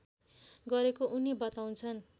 गरेको उनी बताउँछन्